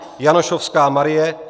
Janošovská Marie